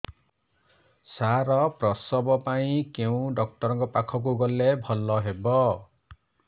ସାର ପ୍ରସବ ପାଇଁ କେଉଁ ଡକ୍ଟର ଙ୍କ ପାଖକୁ ଗଲେ ଭଲ ହେବ